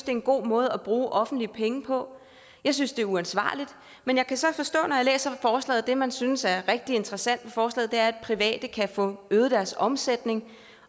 er en god måde at bruge offentlige penge på jeg synes det er uansvarligt men jeg kan så forstå når jeg læser forslaget at det man synes er rigtig interessant ved forslaget er at private kan få øget deres omsætning